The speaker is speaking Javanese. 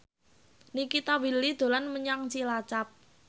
Nikita Willy dolan menyang Cilacap